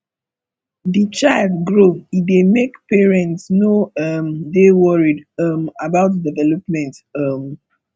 di child grow e dey make parents no um dey worried um about development um